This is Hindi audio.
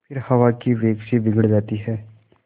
फिर हवा के वेग से बिगड़ जाती हैं